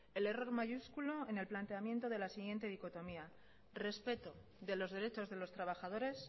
el error mayúsculo en el planteamiento de la siguiente dicotomía respeto de los derechos de los trabajadores